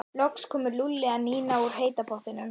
Loks komu Lúlli og Nína úr heita pottinum.